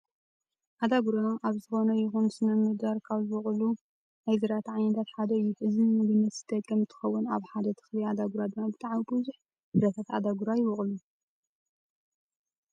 ኣዳጉራ ኣብ ዝኾነ ይኩን ስነ ምህዳር ካብ ዝበቀየሉ ናይ ዝራእቲ ዓይነታት ሓደ እዩ። እዚ ንምግብነት ዝጠቅም እንትከውን ኣብ ሓደ ተክሊ ኣዳጉራ ድማ ብጣዕሚ ብዙሕ ፍረታት ኣዳጉራ ይበቁል።